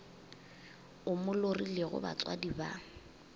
o mo lorilego batswadi ba